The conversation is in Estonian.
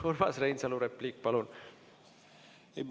Urmas Reinsalu, repliik, palun!